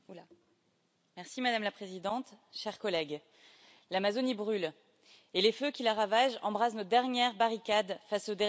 Madame la Présidente, chers collègues, l'Amazonie brûle et les feux qui la ravagent embrasent notre dernière barricade face au dérèglement climatique.